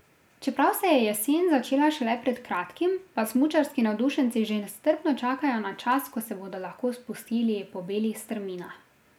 Čeprav se je jesen začela šele pred kratkim, pa smučarski navdušenci že nestrpno čakajo na čas, ko se bodo lahko spustili po belih strminah.